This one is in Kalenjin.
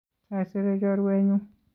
Saisere chorwenyu